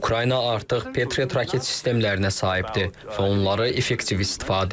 Ukrayna artıq Patriot raket sistemlərinə sahibdir və onları effektiv istifadə edir.